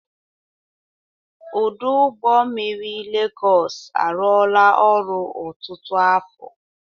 Ọdụ ụgbọ mmiri Legosị arụọla ọrụ ọtụtụ afo.